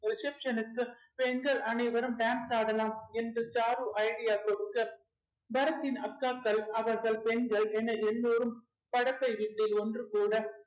reception க்கு பெண்கள் அனைவரும் dance ஆடலாம் என்று சாரு idea குடுக்க பரத்தின் அக்காக்கள் அவர்கள் பெண்கள் என எல்லாரும் படப்பை வீட்டில் ஒன்றுகூட